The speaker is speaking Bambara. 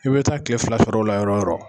I bɛ taa kile fila sɔrɔ ola yɔrɔ o yɔrɔ.